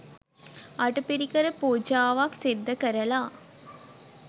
අටපිරිකර පූජාවක් සිද්ධ කරලා